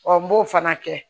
n b'o fana kɛ